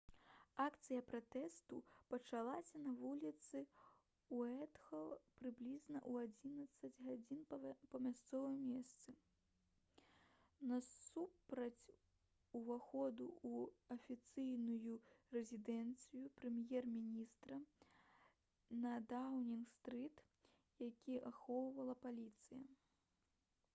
акцыя пратэсту пачалася на вуліцы уайтхол прыблізна ў 11:00 па мясцовым часе utc+1 насупраць уваходу ў афіцыйную рэзідэнцыю прэм'ер-міністра на даўнінг-стрыт які ахоўвала паліцыя